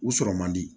U sɔrɔ man di